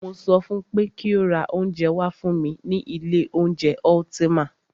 Mo sọ fún pé kí o ra oúnjẹ wá fún mí ní ilé oúnjẹ Ultima!